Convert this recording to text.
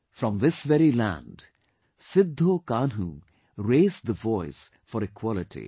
From this very land Sidhho Kanhu raised the voice for equality